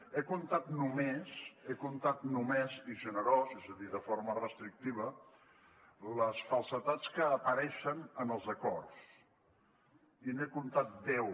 he comptat només he comptat només i generós eh és a dir de forma restrictiva les falsedats que apareixen en els acords i n’he comptat deu